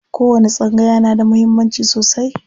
Kowani tsangaya yana da muhimmanci sosai.